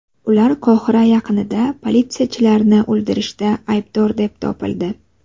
Ular Qohira yaqinida politsiyachilarni o‘ldirishda aybdor deb topildi.